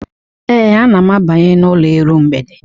Ee, ana m abanye n'ụlọ iru mgbede.